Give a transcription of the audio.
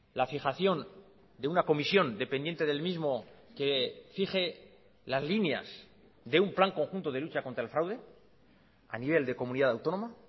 la fijación de una comisión dependiente del mismo que fije las líneas de un plan conjunto de lucha contrael fraude a nivel de comunidad autónoma